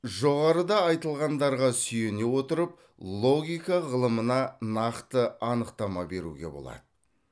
жоғарыда айтылғандарға сүйене отырып логика ғылымына нақты анықтама беруге болады